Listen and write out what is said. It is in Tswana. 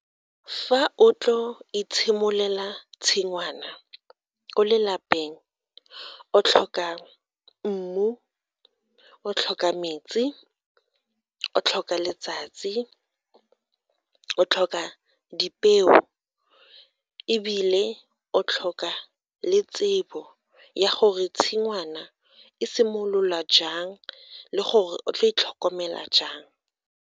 Fa o tlo itshimolela tshingwana ko le lapeng, o tlhoka mmu, o tlhoka metsi, o tlhoka letsatsi, o tlhoka dipeo ebile o tlhoka le tsebo ya gore tshingwana e simolola jang le gore o tla e tlhokomela.